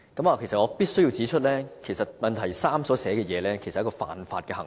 我必須指出，主體質詢第三部分所述的情況是犯法行為。